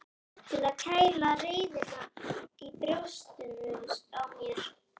Til að kæla reiðina í brjóstinu á mér.